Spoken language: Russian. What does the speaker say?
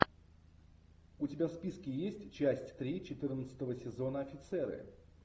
у тебя в списке есть часть три четырнадцатого сезона офицеры